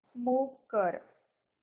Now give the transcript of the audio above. move कर